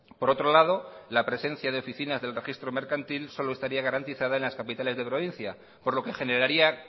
por otro lado la presencia de oficinas del registro mercantil solo estaría garantizadas en las capitales de provincia por lo que generaría